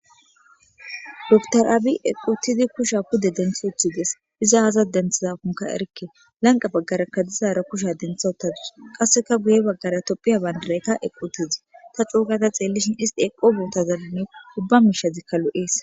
doktoraabi equtidi kusha kude denthi uthides iza aza denthizakonka erikke lanqa baggarakka dizaara kusha dentha ottadus qasseka guye baggara topphiya bandareka equtizi ta coogada xeellishin isti eqo bootazaluni ubba miishazikka lu7ees